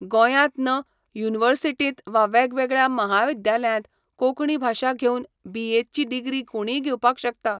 गोंयांत युनिवर्सिटींत वा वेगवेगळ्या महाविद्यालयांत कोंकणी भाशा घेऊन बी. ए.ची डिग्री कोणींय घेवपाक शकता